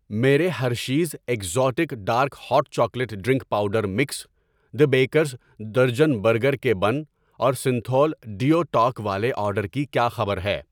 میرے Hershey's exotic dark hot chocolate drink powder mix, the baker's dozen burger کے bun اور Cinthol deo talc والے order کی کیا خبر ہے؟